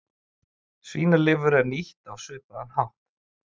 Svínalifur er nýtt á svipaðan hátt.